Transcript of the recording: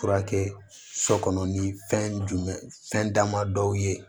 Furakɛ sɔ kɔnɔ ni fɛn jumɛn fɛn dama dɔw ye